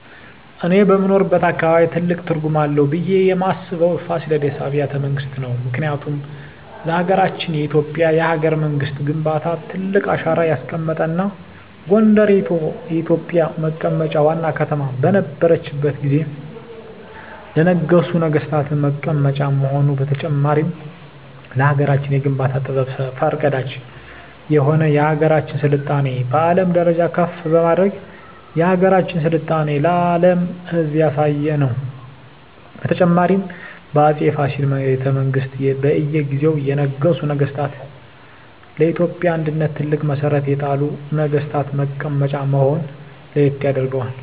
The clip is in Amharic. እኔ በምኖርበት አካባቢ ትልቅ ትርጉም አለው ብየ ማስበው የፋሲለደስ አቢያተ መንግስት ነው ምክንያቱም ለሀገረችን የኢትዮጵያ የሀገረ መንግስት ግንባታ ትልቅ አሻራ ያስቀመጠ እና ጎንደር የኢትዮጵ መቀመጫ ዋና ከተማ በነረችት ጊዜ ለነገሡ ነጠገስታት መቀመጫ መሆኑ በተጨማሪም ለሀገራችን የግንባታ ጥበብ ፈር ቀዳጅ የሆነ የሀገራችን ስልጣኔ በአለም ደረጃ ከፍ በማድረግ የሀገራችን ስልጣኔ ለአም ህዝብ ያሳየ ነው። በተጨማሪም በ አፄ ፋሲል ቤተመንግስት በእየ ጊዜው የነገሱ ነገስታ ለኢትዮጵያ አንድነት ትልቅ መሠረት የጣሉ ነግስታት መቀመጫ መሆነ ለየት ያደርገዋል።